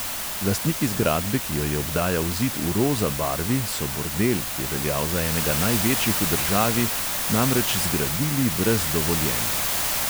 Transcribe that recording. Lastniki zgradbe, ki jo je obdajal zid v roza barvi, so bordel, ki je veljal za enega največjih v državi, namreč zgradili brez dovoljenja.